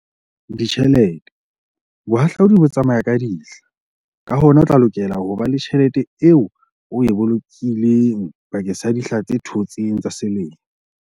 Ditjhelete - Bohahlaudi bo tsamaya ka dihla, ka hona o tla lokela ho ba le tjhelete eo o e bolokileng bakeng sa dihla tse thotseng tsa selemo.